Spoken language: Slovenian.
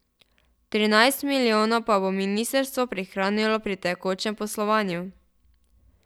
Trinajst milijonov pa bo ministrstvo prihranilo pri tekočem poslovanju.